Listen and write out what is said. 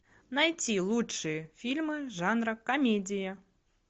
найти лучшие фильмы жанра комедия